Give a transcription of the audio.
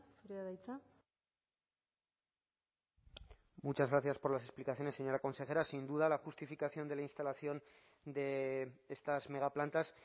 zurea da hitza muchas gracias por las explicaciones señora consejera sin duda la justificación de la instalación de estas megaplantas